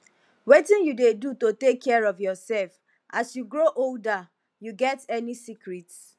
wetin you dey do to take care of yourself as you grow older you get any secrets